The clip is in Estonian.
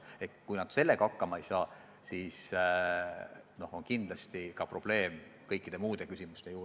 Ja kui nad sellega hakkama ei saa, siis on kindlasti probleeme kõikide muudegi küsimustega.